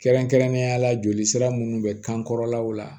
Kɛrɛnkɛrɛnnenya la jolisira munnu bɛ kan kɔrɔlaw la